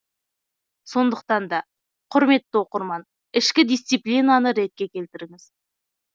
сондықтан да құрметті оқырман ішкі дисциплинаны ретке келтіріңіз